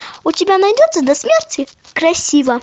у тебя найдется до смерти красива